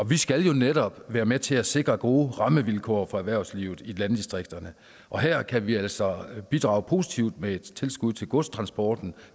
vi skal jo netop være med til at sikre gode rammevilkår for erhvervslivet i landdistrikterne og her kan vi altså bidrage positivt med et tilskud til godstransporten